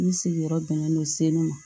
N sigiyɔrɔ bɛnnen don segu ma